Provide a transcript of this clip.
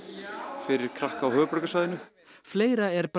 fyrir krakka á höfuðborgarsvæðinu fleira er